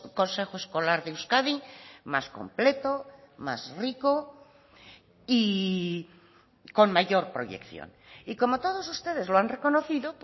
consejo escolar de euskadi más completo más rico y con mayor proyección y como todos ustedes lo han reconocido